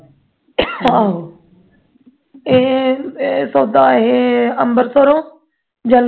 ਆਹੋ ਏ ਏ ਤੁਹਾਡਾ ਅੰਬਰਸਰ੍ਹੋਂ ਜਾਂ